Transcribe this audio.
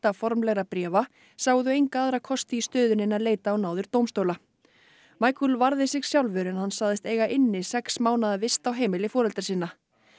formlegra bréfa sáu þau enga aðra kosti í stöðunni en að leita á náðir dómstóla varði sig sjálfur en hann sagðist eiga inni sex mánaða vist á heimili foreldra sinna